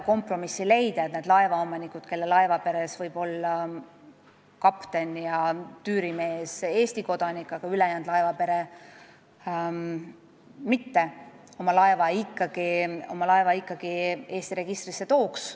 Nende laevaomanike laevaperes võivad kapten ja tüürimees olla Eesti kodanikud, aga ülejäänud laevapere mitte, kuid ikkagi püütakse selle poole, et nad oma laeva Eesti registrisse tooks.